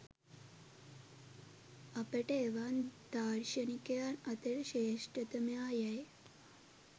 අපට එවන් දාර්ශනිකයන් අතර ශ්‍රේෂ්ඨතමයා යැයි